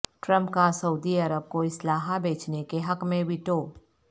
Trump کا سعودی عرب کو اسلحہ بیچنے کے حق میں ویٹو